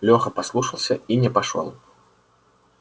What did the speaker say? лёха послушался и не пошёл